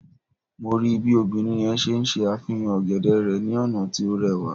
Mo rii bi obinrin yẹn ṣe ṣe afihan ogede rẹ ni ọna ti o rẹwa